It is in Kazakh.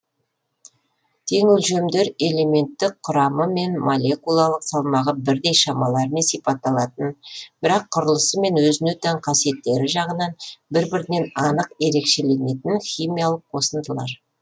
теңөлшемдер элементтік құрамы мен молекулалық салмағы бірдей шамалармен сипатталатын бірақ құрылысы мен өзіне тән қасиеттері жағынан бір бірінен анық ерекшеленетін химиялық қосындылар